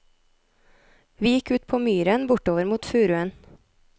Vi gikk ut på myren bortover mot furuen.